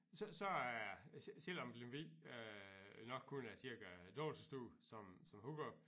Så så er selvom Lemvig øh nok kun er dobbelt så stor som Hurup